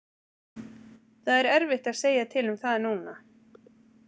Það er erfitt að segja til um það núna.